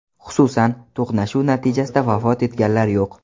Xususan: To‘qnashuv natijasida vafot etganlar yo‘q.